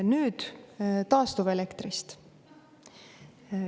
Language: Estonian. Nüüd taastuvelektrist.